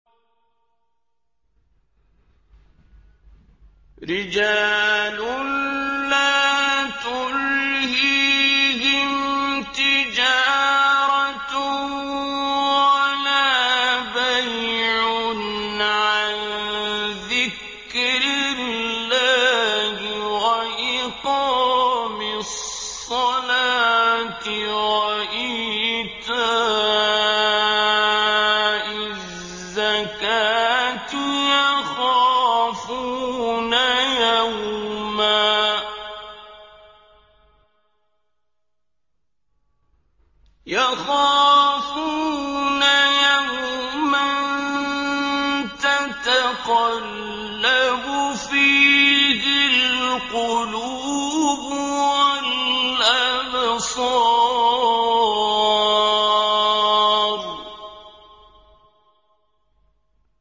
رِجَالٌ لَّا تُلْهِيهِمْ تِجَارَةٌ وَلَا بَيْعٌ عَن ذِكْرِ اللَّهِ وَإِقَامِ الصَّلَاةِ وَإِيتَاءِ الزَّكَاةِ ۙ يَخَافُونَ يَوْمًا تَتَقَلَّبُ فِيهِ الْقُلُوبُ وَالْأَبْصَارُ